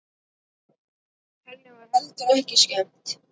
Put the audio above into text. Henni var heldur ekki skemmt.